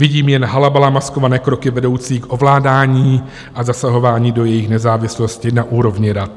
Vidím jen halabala maskované kroky vedoucí k ovládání a zasahování do jejich nezávislosti na úrovni rad.